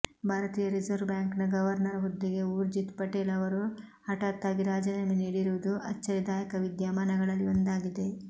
ಭಾರತೀಯ ರಿಸರ್ವ್ ಬ್ಯಾಂಕ್ನ ಗವರ್ನರ್ ಹುದ್ದೆಗೆ ಉರ್ಜಿತ್ ಪಟೇಲ್ ಅವರು ಹಠಾತ್ತಾಗಿ ರಾಜೀನಾಮೆ ನೀಡಿರುವುದು ಅಚ್ಚರಿದಾಯಕ ವಿದ್ಯಮಾನಗಳಲ್ಲಿ ಒಂದಾಗಿದೆ